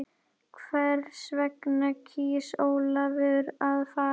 Hvers vegna kýs Ólafur að fara?